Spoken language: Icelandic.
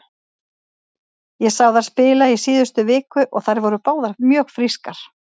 Ég sá þær spila í síðustu viku og þær voru báðar mjög frískar.